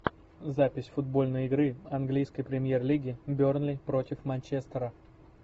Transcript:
запись футбольной игры английской премьер лиги бернли против манчестера